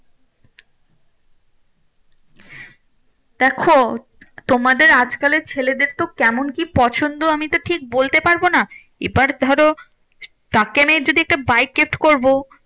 দেখো তোমাদের আজকালের ছেলেদের তো কেমন কি পছন্দ আমি তো ঠিক বলতে পারবো না? এবার ধরো তাকে আমি যদি একটা বাইক gift করবো